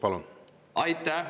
Palun!